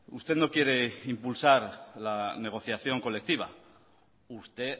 usted no quiere impulsar la negociación colectiva usted